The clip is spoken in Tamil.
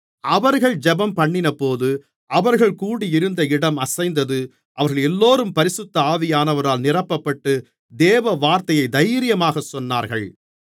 அவர்கள் ஜெபம்பண்ணினபோது அவர்கள் கூடியிருந்த இடம் அசைந்தது அவர்களெல்லோரும் பரிசுத்த ஆவியானவரால் நிரப்பப்பட்டு தேவவார்த்தையைத் தைரியமாகச் சொன்னார்கள்